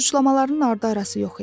Suçlamaların ardı arası yox idi.